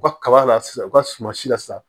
U ka kaba la sisan u ka suman si la sisan